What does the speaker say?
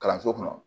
Kalanso kɔnɔ